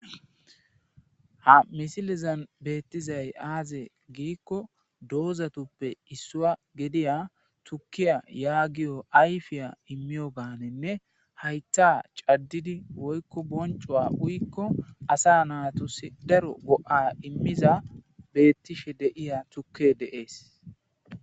Ha misilezan beetizay azze giiko dozatupe issuwa giideya tuukiya yagiyo ayfe imyoganne hayitha cadide woykko boonico uyiko asa natuusi daro goa immiza betiishe deea tuukiya dees.